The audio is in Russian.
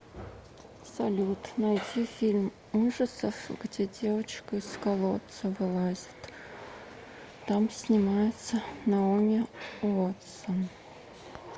салют найди фильм ужасов где девочка из колодца вылазит там снимается наоми уотсон